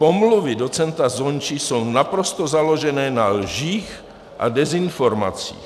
Pomluvy docenta Zonči jsou naprosto založené na lžích a dezinformacích.